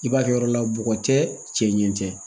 I b'a kɛ yɔrɔ la bɔgɔ tɛ cɛ ɲɛ tɛ